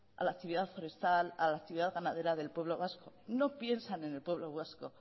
a la actividad forestal a la actividad ganadera del pueblo vasco no piensan en el pueblo vasco